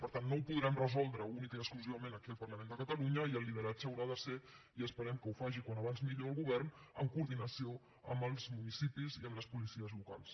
per tant no ho podrem resoldre únicament i exclusivament aquí al parlament de catalunya i el lideratge haurà de ser i esperem que ho faci com més aviat millor el govern en coordinació amb els municipis i amb les policies locals